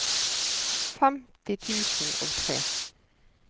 femti tusen og tre